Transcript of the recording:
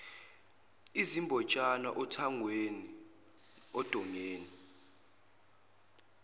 izimbotshana othangweni ondongeni